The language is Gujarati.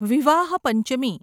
વિવાહ પંચમી